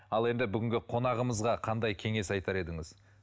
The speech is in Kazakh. ал енді бүгінгі қонағымызға қандай кеңес айтар едіңіз